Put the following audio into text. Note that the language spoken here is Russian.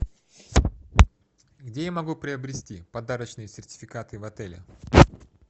где я могу приобрести подарочные сертификаты в отеле